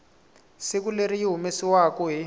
siku leri yi humesiwaku hi